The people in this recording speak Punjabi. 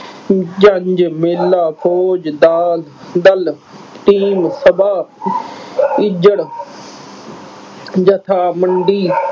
ਜੰਝ, ਮੇਲਾ, ਫੌਜ, ਦਾਲ ਅਹ ਦਲ, team ਸਭਾ, ਇੱਜੜ ਜਥਾ, ਮੰਡੀ